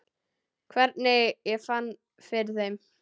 Hvernig ég fann fyrir þeim?